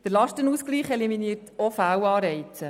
Der Lastenausgleich eliminiert auch Fehlanreize.